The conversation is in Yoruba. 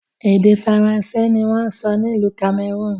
Èdè Faransé ni wọn ń sọ ní ìlú Cameroon